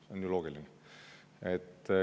See on ju loogiline.